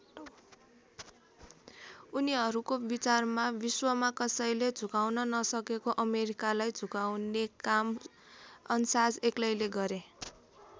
उनीहरूको विचारमा विश्वमा कसैले झुकाउन नसकेको अमेरिकालाई झुकाउने काम अन्साज एक्लैले गरे।